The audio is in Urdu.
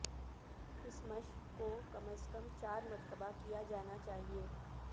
اس مشق کو کم از کم چار مرتبہ کیا جانا چاہئے